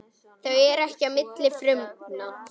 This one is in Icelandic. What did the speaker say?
Þau fara ekki á milli frumna.